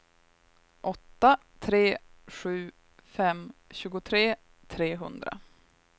åtta tre sju fem tjugotre trehundra